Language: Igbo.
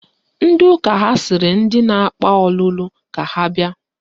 Ndị ụka ha sịrị ndị na-akpa ọlụlụ ka ha bịa